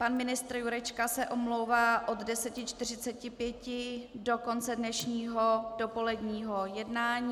Pan ministr Jurečka se omlouvá od 10.45 do konce dnešního dopoledního jednání.